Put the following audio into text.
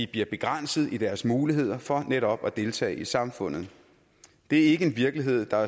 bliver begrænset i deres muligheder for netop at deltage i samfundslivet det er ikke en virkelighed der